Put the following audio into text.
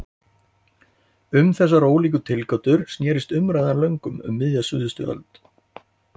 Um þessar ólíku tilgátur snerist umræðan löngum um miðja síðustu öld.